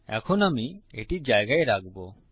এখন আমি এটি জায়গায় রাখবো